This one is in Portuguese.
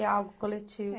É algo coletivo.